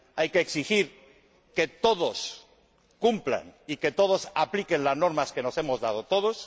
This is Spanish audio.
Hay que exigir que todos cumplan y que todos apliquen las normas que nos hemos dado todos.